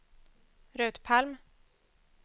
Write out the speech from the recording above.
Rut Palm